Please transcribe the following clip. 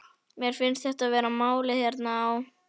Mér finnst þetta vera málið hérna á